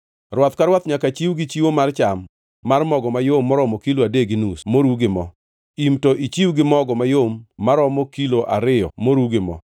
Rwath ka rwath nyaka chiw gi chiwo mar cham mar mogo mayom maromo kilo adek gi nus moru gi mo; im to ichiw gi mogo mayom maromo kilo ariyo moru gi mo;